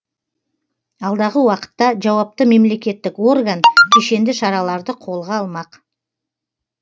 алдағы уақытта жауапты мемлекеттік орган кешенді шараларды қолға алмақ